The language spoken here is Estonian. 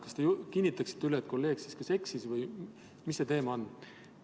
Kas te kinnitaksite üle, et kolleeg kas eksis või mis see teema on?